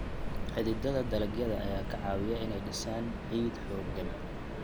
Xididdada dalagyada ayaa ka caawiya inay dhisaan ciid xooggan.